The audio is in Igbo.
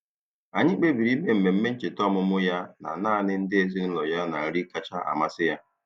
Anyị kpebiri ime mmemme ncheta ọmụmụ ya na naanị ndị ezinụụlọ ya na nri kacha amasị ya.